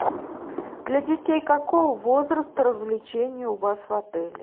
для детей какого возраста развлечения у вас в отеле